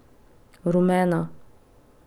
Rumena.